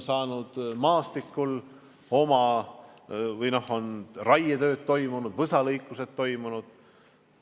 Seal on raietööd toimunud, võsalõikused toimunud.